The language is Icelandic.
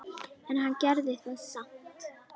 En hann gerir það samt.